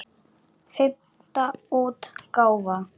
Fimmta útgáfa.